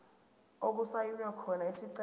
okusayinwe khona isicelo